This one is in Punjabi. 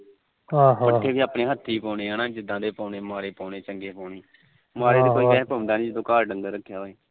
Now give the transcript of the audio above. ਪੱਠੇ ਵੀ ਆਪਣੇ ਹੱਥੀ ਪਾਉਣੇ ਹਨਾ ਮਾੜੇ ਪਾਉਣੇ ਚੰਗੇ ਪਾਉਣੇ ਮਾੜੇ ਤਾ ਪਾਉਦਾ ਨੀ ਜਦੋ ਘਰ ਰੱਖਿਆ